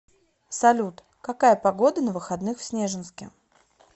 салют какая погода на выходных в снежинске